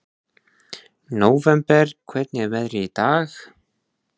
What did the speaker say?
Nóvember, hvernig er veðrið í dag?